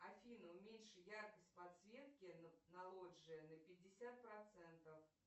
афина уменьши яркость подсветки на лоджии на пятьдесят процентов